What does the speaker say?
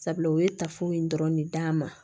Sabula u ye tafew in dɔrɔn de d'an ma